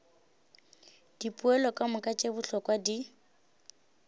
dipoelo kamoka tše bohlokwa di